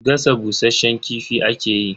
Gasa bushasshen kifi ake yi.